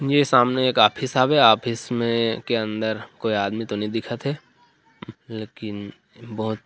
मेरे सामने एक ऑफिस हवे ऑफिस मे के अंदर कोई आदमी तो नई दिखत हे लेकिन बहोत--